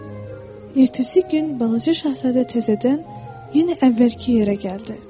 Ertəsi gün balaca şahzadə təzədən yenə əvvəlki yerə gəldi.